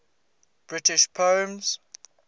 british poems